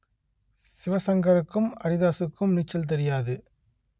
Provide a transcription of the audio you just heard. சிவசங்கருக்கும் அரிதாசுக்கும் நீச்சல் தெரியாது